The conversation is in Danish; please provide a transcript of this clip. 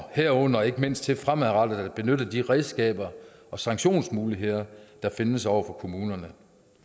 herunder ikke mindst ved fremadrettet at benytte de redskaber og sanktionsmuligheder der findes over for kommunerne